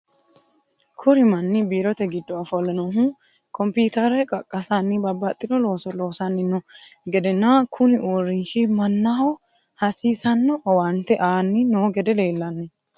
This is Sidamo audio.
Kuri manni Biirote giddo ofolle noohu kompitere qaqqasanni babaxino looso loosanni no gedena kuni uurinshi mannaho hasissanno owante aanni no gede leellanni no.